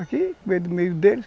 Aqui, no meio meio deles.